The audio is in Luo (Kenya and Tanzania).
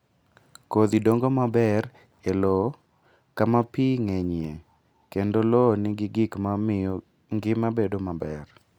Kodhi dongo maber e lowo kama pi ng'enyie kendo lowo nigi gik ma miyo ngima bedo maber.